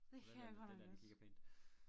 Hvordan er det den dér den kigger på én